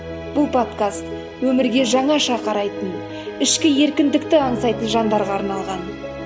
бұл подкаст өмірге жаңаша қарайтын ішкі еркіндікті аңсайтын жандарға арналған